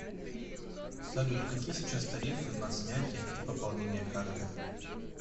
салют какие сейчас тарифы на снятие и пополнение карты